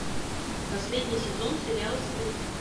последний сезон сериал стыд